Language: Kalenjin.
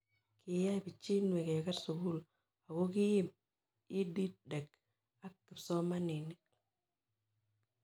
Kiyai pichinwek keker sukul ako kiim EdTech ak kipsomanik